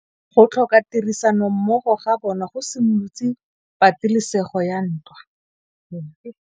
Go tlhoka tirsanommogo ga bone go simolotse patêlêsêgô ya ntwa.